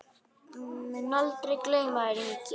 Mun aldrei gleyma þér, Ingi.